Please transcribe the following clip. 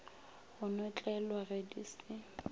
go notlelwa ge di se